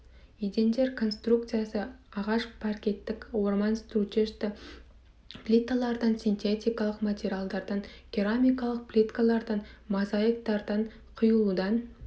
едендер конструкциясы ағаш паркеттік орман стружечті плиталардан синтетикалық материалдардан керамикалық плиткалардан мозаиктардан құюлудан